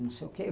Não sei o quê.